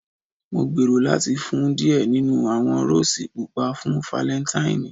Mo gbero lati fun u diẹ ninu awọn Roses pupa fun Falentaini